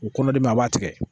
O kɔnɔdimi a b'a tigɛ